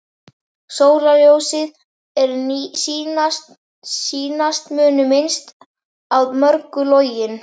Sólarljóð, er sýnast munu minnst að mörgu login.